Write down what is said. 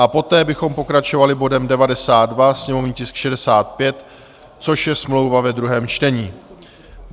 A poté bychom pokračovali bodem 92, sněmovní tisk 65, což je smlouva ve druhém čtení.